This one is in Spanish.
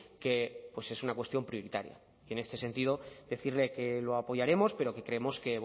que es una cuestión prioritaria y en este sentido decirle que lo apoyaremos pero que creemos que